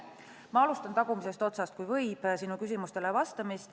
Ma alustan sinu küsimustele vastamist tagumisest otsast, kui võib.